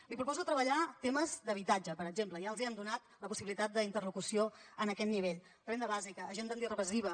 li proposo treballar temes d’habitatge per exemple ja els hem donat la possibilitat d’interlocució en aquest nivell renda bàsica agenda antirepressiva